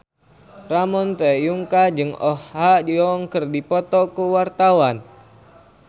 Ramon T. Yungka jeung Oh Ha Young keur dipoto ku wartawan